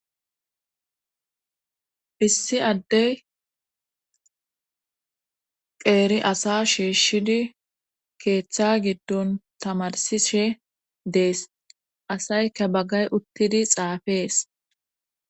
issi addey qeeri asa shiishshidi keeththa giddon tamarsishe dees asayka baggay uttidi xaafees